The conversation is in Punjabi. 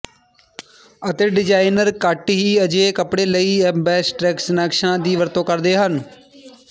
ਅਤੇ ਡਿਜ਼ਾਇਨਰ ਘੱਟ ਹੀ ਅਜਿਹੇ ਕੱਪੜੇ ਲਈ ਐਬਸਟਰੈਕਸ਼ਨਾਂ ਦੀ ਵਰਤੋਂ ਕਰਦੇ ਹਨ